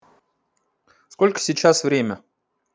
сколько сейчас время